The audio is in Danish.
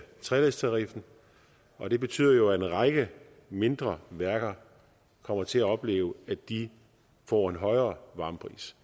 treledstariffen og det betyder jo at en række mindre værker kommer til at opleve at de får en højere varmepris